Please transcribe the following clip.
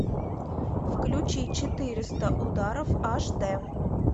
включи четыреста ударов аш д